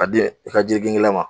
Ka di i ka ji gengen la ma.